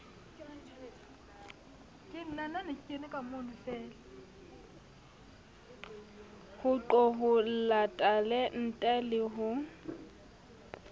ho qoholla talente le ho